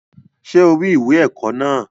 Ṣé o rí ìwé ẹ̀kọ́ náà?